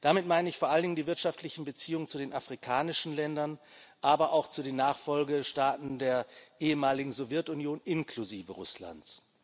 Damit meine ich vor allem die wirtschaftlichen Beziehungen zu den afrikanischen Ländern, aber auch zu den Nachfolgestaaten der ehemaligen Sowjetunion inklusive Russlands.